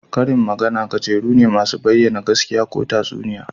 Karin magana gajeru ne masu bayyana gaskiya ko tatsuniya